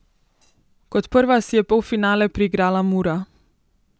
Kot prva si je polfinale priigrala Mura.